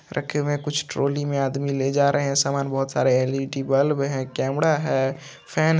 रखे हुए हैं कुछ ट्रॉली में आदमी ले जा रहे हैं समान बहोत सारे एल_ई_डी बल्ब है कैमरा है फैन